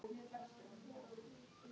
Hún sér ekki framan í manninn.